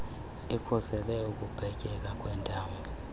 ikhusele ukupetyeka kwentamo